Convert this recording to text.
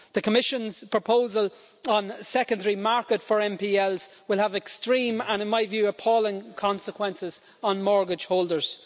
The Commission's proposal on the secondary market for NPLs will have extreme and, in my view, appalling consequences on mortgage holders.